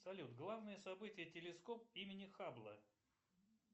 салют главное событие телескоп имени хаббла